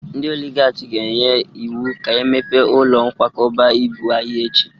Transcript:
Ndị oligarch ga-enye iwu ka emepee ụlọ nkwakọba ibu ahia echi